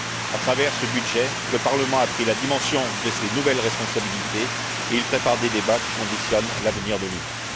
À travers ce budget, le Parlement a pris la dimension de ses nouvelles responsabilités et il prépare des débats qui conditionnent l'avenir de l'Union.